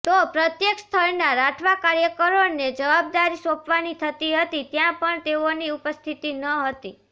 તો પ્રત્યેક સ્થળના રાઠવા કાર્યકરોને જવાબદારી સોંપવાની થતી હતી ત્યાં પણ તેઓની ઉપસ્થિતિ ન હતી